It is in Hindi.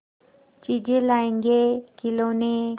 चीजें लाएँगेखिलौने